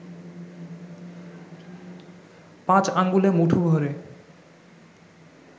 পাঁচ আঙ্গুলে মুঠো ভ’রে